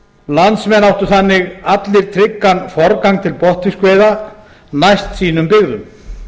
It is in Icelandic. landsmenn áttu þannig allir tryggan forgang til botnfiskveiða næst sínum byggðum